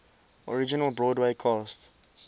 original broadway cast